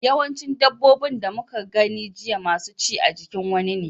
Yawancin dabbobin da muka gani jiya masu ci a jikin wani ne.